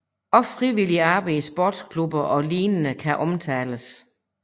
Også frivilligt arbejde i sportsklubber og lignende kan omtales